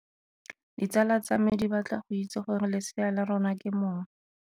Ditsala tsa me di batla go itse gore lesea la rona ke mong.